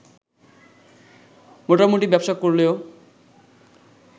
মোটামুটি ব্যবসা করলেও